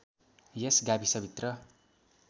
यस गाविसभित्र